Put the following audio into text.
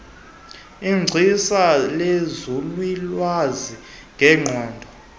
igcisa lenzululwazi ngengqondo